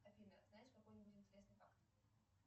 афина знаешь какой нибудь интересный факт